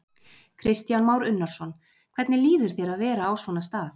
Kristján Már Unnarsson: Hvernig líður þér að vera á svona stað?